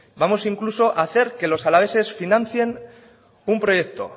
vamos incluso a hacer que los alaveses financien un proyecto